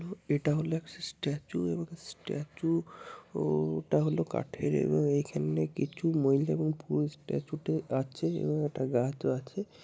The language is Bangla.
এটা হল একটা স্ট্যাচু এবং স্ট্যাচু ও টা হল কাঠের এবং এখানে কিছু মহিলা এবং পুরুষ স্ট্যাচু -টি আছে এবং একটা গাছও আছে।